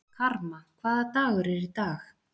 Karma, hvaða dagur er í dag?